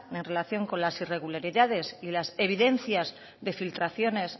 en relación con las irregularidades y las evidencias de filtraciones